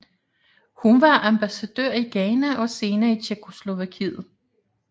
Hun var ambassadør i Ghana og senere i Tjekkoslovakiet